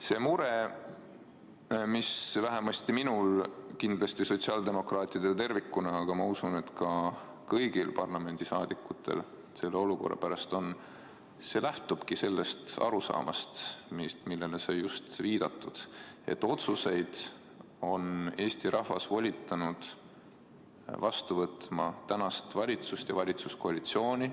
See mure, mis vähemasti minul, kindlasti sotsiaaldemokraatidel tervikuna, aga ma usun, et ka kõigil parlamendisaadikutel selle olukorra pärast on, see lähtubki sellest arusaamast, millele sai viidatud – otsuseid on Eesti rahvas volitanud vastu võtma tänast valitsust ja valitsuskoalitsiooni.